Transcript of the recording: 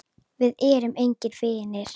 Við erum engir vinir.